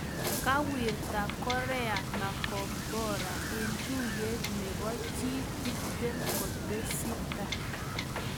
Kawirta korea makombora en tuyet nebo G20 kutesita